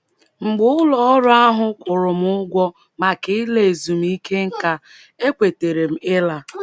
Mgbe ụlọ ọrụ ahụ kwụrụ m ụgwọ maka ịla ezumike nká, ekwetere m ịla. ”